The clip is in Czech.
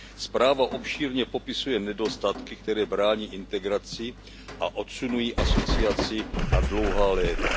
Zpráva obšírně popisuje nedostatky, které brání integraci a odsunují asociaci na dlouhá léta.